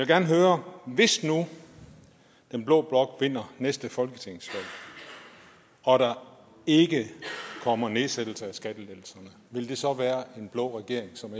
gerne høre hvis nu den blå blok vinder næste folketingsvalg og der ikke kommer en nedsættelse af skatterne vil det så være en blå regering som